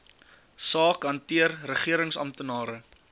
saak hanteer regeringsamptenare